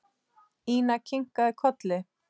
Ína kinkaði kolli.